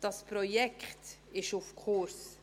Dieses Projekt ist auf Kurs.